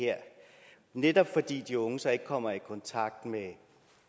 netop fordi de unge så ikke kommer i kontakt med